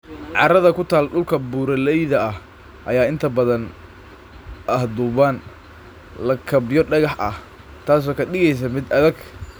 Carrada ku taal dhulka buuraleyda ah ayaa inta badan ah dhuuban, lakabyo dhagax ah, taasoo ka dhigaysa mid adag.